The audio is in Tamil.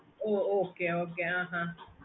okay mam